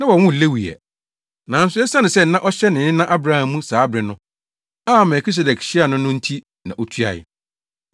Na wɔnwoo Lewi ɛ, nanso esiane sɛ na ɔhyɛ ne nena Abraham mu saa bere no a Melkisedek hyiaa no no nti na otuae.